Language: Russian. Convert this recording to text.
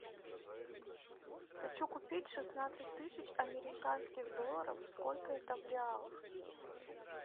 хочу купить шестнадцать тысяч американских долларов сколько это в реалах